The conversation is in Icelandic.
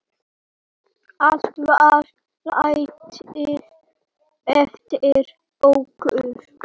Allt var látið eftir okkur.